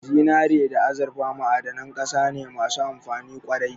Zinare da azurfa ma'adanan ƙasa ne masu amfani ƙwarai